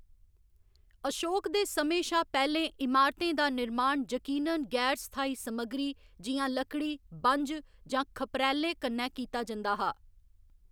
अशोक दे समें शा पैह्‌लें, इमारतें दा निर्माण यकीनन गैर स्थाई समग्गरी, जि'यां लकड़ी, बंझ, जां खप्परैलें कन्नै कीता जंदा हा।